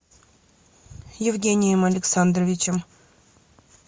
евгением александровичем